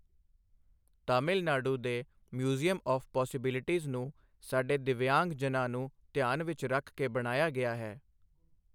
ਤਮਿਲ ਨਾਡੂ ਦੇ museum of possibilities ਨੂੰ ਸਾਡੇ ਦਿੱਵਯਾਂਗ ਜਨਾਂ ਨੂੰ ਧਿਆਨ ਵਿੱਚ ਰੱਖ ਕੇ ਬਣਾਇਆ ਗਿਆ ਹੈ।